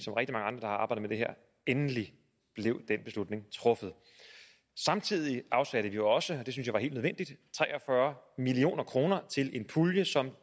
endelig blev den beslutning truffet samtidig afsatte vi jo også var helt nødvendigt tre og fyrre million kroner til en pulje som